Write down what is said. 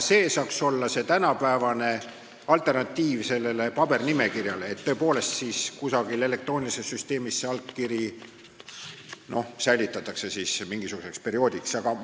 See saaks olla tänapäevane alternatiiv sellele pabernimekirjale, et kusagil elektroonilises süsteemis see allkiri mingisuguseks perioodiks säilitataks.